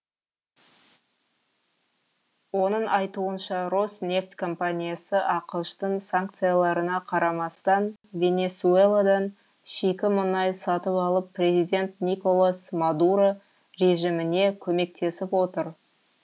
оның айтуынша роснефть компаниясы ақш тың санкцияларына қарамастан венесуэладан шикі мұнай сатып алып президент николас мадуро режиміне көмектесіп отыр